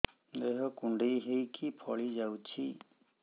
ଦେହ କୁଣ୍ଡେଇ ହେଇକି ଫଳି ଯାଉଛି